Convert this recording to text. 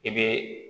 I bɛ